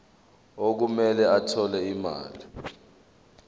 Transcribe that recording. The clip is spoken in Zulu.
okumele athole imali